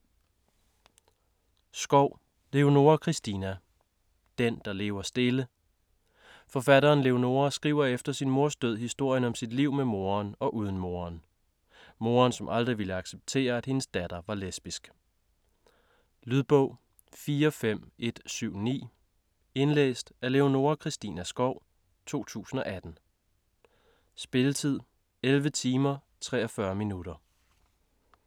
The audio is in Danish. Skov, Leonora Christina: Den, der lever stille Forfatteren Leonora skriver efter sin mors død historien om sit liv med moderen og uden moderen. Moderen som aldrig ville acceptere at hendes datter er lesbisk. Lydbog 45179 Indlæst af Leonora Christina Skov, 2018. Spilletid: 11 timer, 43 minutter.